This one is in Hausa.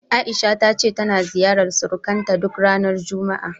A'isha ta ce tana ziyarar surukanta duk ranar juma'a.